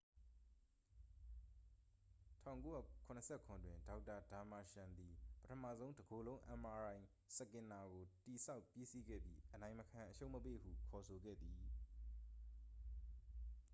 1977တွင် ဒေါက်တာ ဒါမာရှန်သည် ပထမဆုံး တကိုယ်လုံး mri စကင်နာကို တည်ဆောက်ပြီးစီးခဲ့ပြီး အနိုင်မခံအရှုံးမပေးဟု ခေါ်ဆိုခဲ့သည်